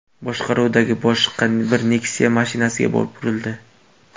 boshqaruvidagi boshqa bir Nexia mashinasiga borib urildi.